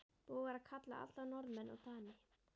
Búið var að kalla alla Norðmenn og Dani.